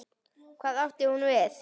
Hvað átti hún við?